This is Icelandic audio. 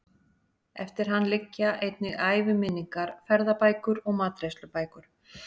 Eftir hann liggja einnig æviminningar, ferðabækur og matreiðslubækur.